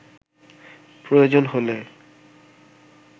প্রয়োজন হলে